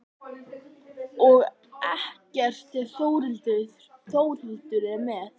Og ekkert ef Þórhildur er með.